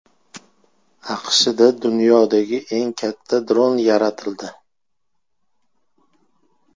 AQShda dunyodagi eng katta dron yaratildi .